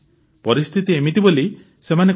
ପରିସ୍ଥିତି ଏମିତି ବୋଲି ସେମାନେ କହୁଛନ୍ତି ସାର୍